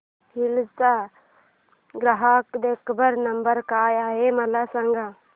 hills चा ग्राहक देखभाल नंबर काय आहे मला सांग